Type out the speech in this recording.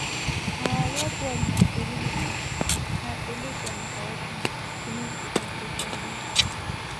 our watchword na stability na stability and cohesion to move di kontri forward